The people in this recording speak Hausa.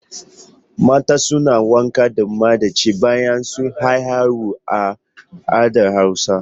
Mata suna wanka da madachi bayan haihuwa a al'adar hausa.